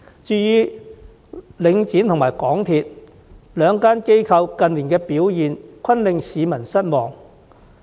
至於領展和港鐵公司，這兩間機構近年的表現均令市民感到失望。